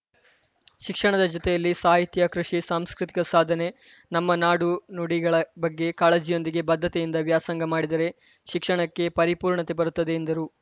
ಶಿಕ್ಷಣದ ಜೊತೆಯಲ್ಲಿ ಸಾಹಿತ್ಯ ಕೃಷಿ ಸಾಂಸ್ಕೃತಿಕ ಸಾಧನೆ ನಮ್ಮ ನಾಡುನುಡಿಗಳ ಬಗ್ಗೆ ಕಾಳಜಿಯೊಂದಿಗೆ ಬದ್ಧತೆಯಿಂದ ವ್ಯಾಸಂಗ ಮಾಡಿದರೆ ಶಿಕ್ಷಣಕ್ಕೆ ಪರಿಪೂರ್ಣತೆ ಬರುತ್ತದೆ ಎಂದರು